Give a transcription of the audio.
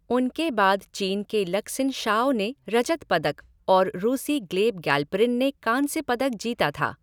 उनके बाद चीन के लक्सिन झोउ ने रजत पदक और रूसी ग्लेब गैल्परिन ने कांस्य पदक जीता था।